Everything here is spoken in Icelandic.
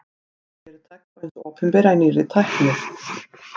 fjárfesting fyrirtækja og hins opinbera í nýrri tækni